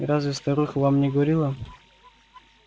разве старуха вам не говорила